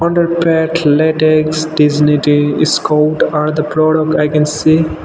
underpads latex dignity scott are the products i can see.